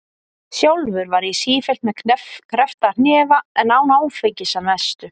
Sjálfur var ég sífellt með kreppta hnefa en án áfengis- að mestu.